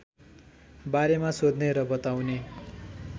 बारेमा सोध्ने र बताउने